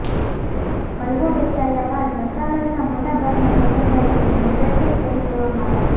હલવો વહેંચાયા બાદ મંત્રાલયનાં મોટા ભાગના કર્મચારીઓને નજરકેદ કરી દેવામાં આવે છે